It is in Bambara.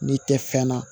N'i tɛ fɛn na